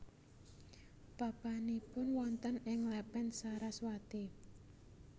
Papanipun wonten ing Lepen Saraswati